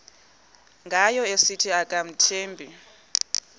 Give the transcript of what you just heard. ngayo esithi akamthembi